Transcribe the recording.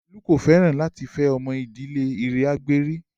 Olu kò fẹ́ràn láti fẹ́ ọmọ ìdílé Iragberi